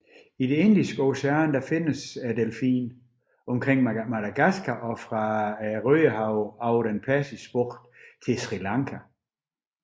I det Indiske ocean findes delfinen omkring Madagaskar og fra Rødehavet over den Persiske bugt til Sri Lanka